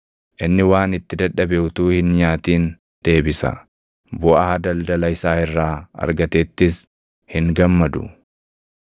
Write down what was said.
Inni waan itti dadhabe utuu hin nyaatin deebisa; buʼaa daldala isaa irraa argatettis hin gammadu.